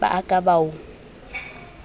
ba a ka ba o